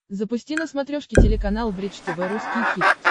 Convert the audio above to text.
запусти на смотрешке телеканал бридж тв русский хит